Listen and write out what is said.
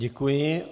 Děkuji.